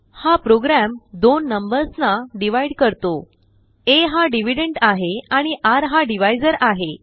हा प्रोग्राम दोननंबर्सनाdividesकरतो aहा dividendआहे आणिrहाdivisorआहे